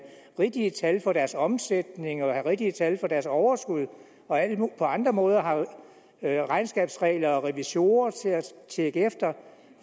rigtige tal for deres omsætning og have rigtige tal for deres overskud og på andre måder har regnskabsregler og revisorer til at tjekke efter